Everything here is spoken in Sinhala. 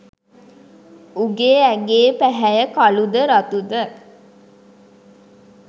උගේ ඇඟේ පැහැය කළුද රතුද